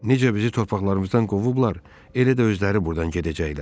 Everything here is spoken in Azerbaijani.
Necə bizi torpaqlarımızdan qovublar, elə də özləri buradan gedəcəklər.